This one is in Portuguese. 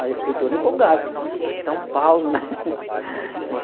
Aí eu fiquei todo empolgado, falei, nossa, eu estou em São Paulo, né?